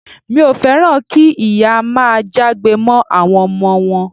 Mi ò féràn kí ìyá máa jágbe mọ́ àwọn ọmọ wọn.